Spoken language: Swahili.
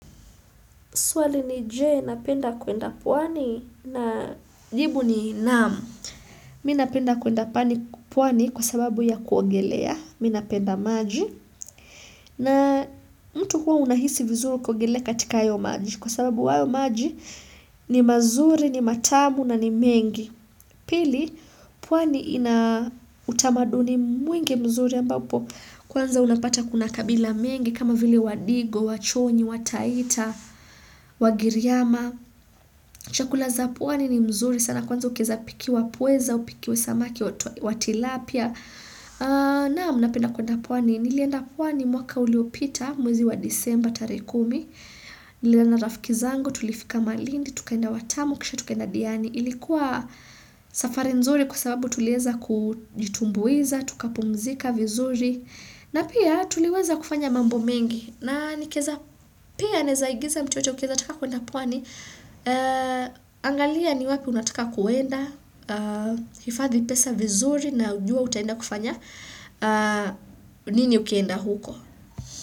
Suali ni Jee, napenda kuenda pwani na jibu ni naam. Mi napenda kuenda pwani kwa sababu ya kuongelea. Mi napenda maji. Na mtu huwa unahisi vizuru kuogelea katika ayo maji. Kwa sababu hayo maji ni mazuri, ni matamu na ni mengi. Pili, pwani ina utamaduni mwingi mzuri ambapo. Kwanza unapata kuna kabila mengi kama vile wadigo, wachoni, wataita, wagiriyama. Chakula za puani ni mzuri, sana kwanza ukieza pikiwa pweza, au upikiwe samaki wa tilapia. Naam napenda kuenda pwani, nilienda pwani mwaka uliopita mwezi wa disemba tarehe kumi, niliona rafiki zango, tulifika malindi, tukaenda watamu, kisha tukenda diani. Ilikuwa safari nzuri kwa sababu tulieza kujitumbuiza, tukapumzika vizuri. Na pia tuliweza kufanya mambo mengi na pia naeza igiza mtu yoyote ukieza taka kuenda pwani. Angalia ni wapi unataka kuenda, hifadhi pesa vizuri na ujue utaenda kufanya nini ukienda huko.